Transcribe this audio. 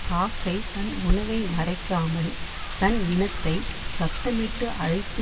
காக்கை தன் உணவை மறைக்காமல் தன் இனத்தை சத்தமிட்டு அழைத்து